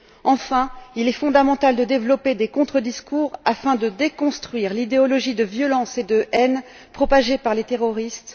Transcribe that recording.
Enfin, il est fondamental de développer des contre discours afin de déconstruire l'idéologie de violence et de haine propagée par les terroristes.